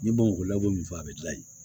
N ye bamakɔ ye ko min fɔ a bɛ dilan yen